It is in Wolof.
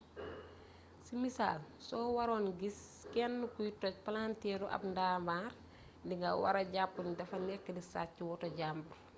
ci misaal soo waroon gis kenn kuy toj palanteeru ab ndaamaar di nga wara jàpp ni dafa nekk di sàcc woto jambur